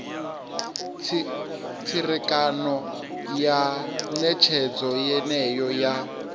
tserekano ya netshedzo yeneyo ya